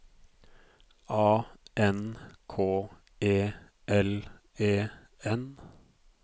A N K E L E N